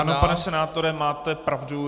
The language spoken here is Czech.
Ano, pane senátore, máte pravdu.